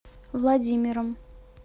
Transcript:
владимиром